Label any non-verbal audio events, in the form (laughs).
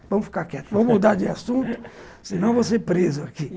Vamos ficar quietos, (laughs) vamos mudar de assunto, senão vou ser preso aqui.